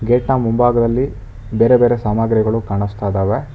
Gate ನ ಮುಂಭಾಗದಲ್ಲಿ ಬೇರೆ ಬೇರೆ ಸಾಮಗ್ರಿಗಳು ಕಾಣಿಸ್ತದವೆ.